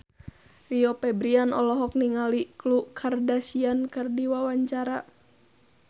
Rio Febrian olohok ningali Khloe Kardashian keur diwawancara